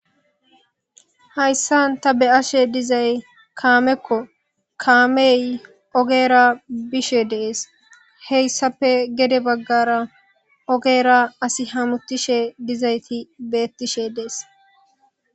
hayssan ta beyashe dizay kaamekko kaamey ogera bishe dees heyssape gede baggara ogera as hamutishe dizayti beettishe dees